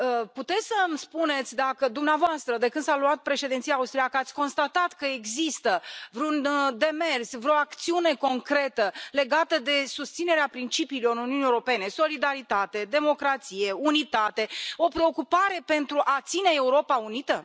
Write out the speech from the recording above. Puteți să mi spuneți dacă dumneavoastră, de când s a luat președinția austriacă, ați constatat că există vreun demers, vreo acțiune concretă legată de susținerea principiilor Uniunii Europene solidaritate, democrație, unitate, o preocupare pentru a ține Europa unită?